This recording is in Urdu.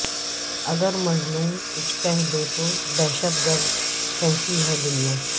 اگر مظلوم کچھ کہہ دے تو دہشت گرد کہتی ہے دنیا